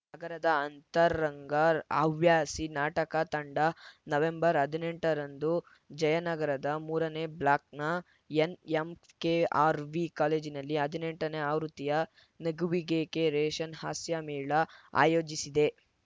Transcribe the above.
ನಗರದ ಅಂತರಂಗ ಹವ್ಯಾಸಿ ನಾಟಕ ತಂಡ ನವೆಂಬರ್ ಹದಿನೆಂಟರಂದು ಜಯನಗರದ ಮೂರನೇ ಬ್ಲಾಕ್‌ನ ಎನ್‌ಎಂಕೆಆರ್‌ವಿ ಕಾಲೇಜಿನಲ್ಲಿ ಹದಿನೆಂಟನೇ ಆವೃತ್ತಿಯ ನಗುವಿಗೇಕೆ ರೇಷನ್‌ಹಾಸ್ಯಮೇಳ ಆಯೋಜಿಸಿದೆ